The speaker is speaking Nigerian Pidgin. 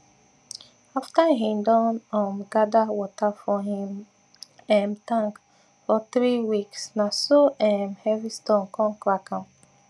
after him don um gather water for him um tank for three weeks na so um heavy storm con crack am